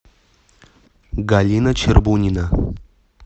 галина чербунина